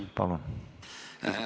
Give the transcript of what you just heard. Palun!